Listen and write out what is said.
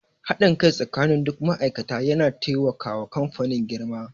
Haɗin kai tsakanin duk ma'aikata ya taimaka wa kamfanin girma.